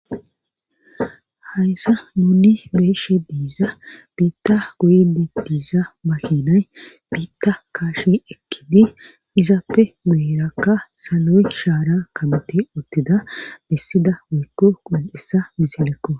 Hayssa nuni beeshe diiza biitta guyde diiza mahinay biitta kaashi ekkidi izappe guyerakka saloy shaara kabeti uttida bissida woykko qol'isa misilekko